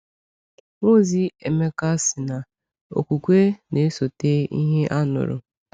Nwaozi Emeka sị na okwukwe na-esote ihe a nụrụ.